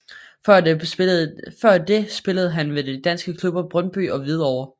Før det spillede han med de danske klubber Brøndby og Hvidovre